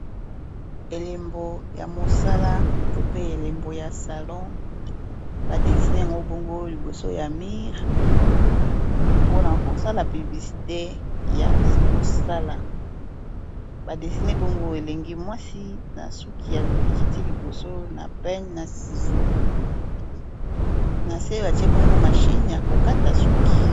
Elembo ya mosala to pe elembo ya salon ba dessine yango bongo liboso ya mur mpo na kosala publicite ya mosala ba dessine bongo elenge mwasi na suki ya ekiti liboso na pene na sizo na se batie bongo mashine ya kokata suki